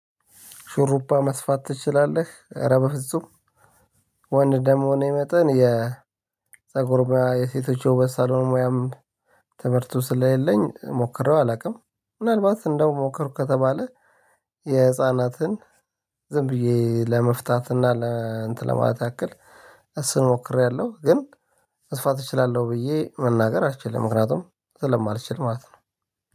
ሹሩባ መስፋት ትችላለህ? እረ በፍጹም ወንድ እንደመሆኔ መጠን የፀጉር ሙያ የሴቶች የወበት ሳሎን ሙያም ትምርቱ ስለሌለኝ ሞክሬው አላውቅም። ምናልባት ሞከርኩ ከተባለ የህፃናትን ዝም ብዬ ለመፍታት እና እንትን ለማለት ያክል እሱን ሞክሬያለሁ ግን መስፋት እችላለሁ ብዬ መናገር አልችልም ምክንያቱም ስለማልችል ማለት ነው።